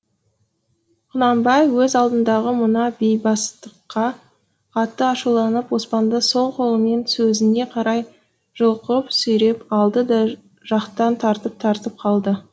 құнанбай өз алдындағы мына бейбастыққа қатты ашуланып оспанды сол қолымен сөзіне қарай жұлқып сүйреп алды да жақтан тартып тартып қалды